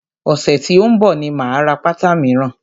Ọ̀sẹ̀ tí ó ń bọ̀ ni máa ra pátá míràn.